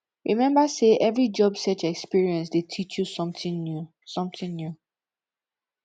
remember say every job search experience dey teach you something new something new